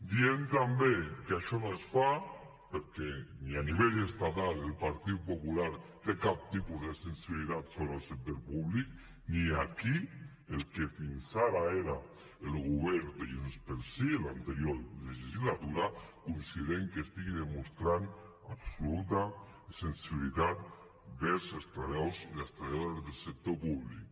diem també que això no es fa perquè ni a nivell estatal el partit popular té cap tipus de sensibilitat sobre el sector públic ni aquí el que fins ara era el govern de junts pel sí en l’anterior legislatura considerem que estigui demostrant absoluta sensibilitat vers els treballadors i les treballadores del sector públic